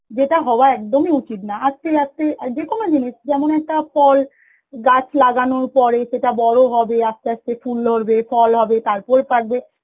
যেটা হওয়া একদমই উচিত না আজকের লাগছে যে কোন জিনিস যেমন একটা ফল গাছ লাগানোর পরে সেটা বড় হবে আস্তে আস্তে ফুল ধরবে ফল হবে তারপরে পাকবে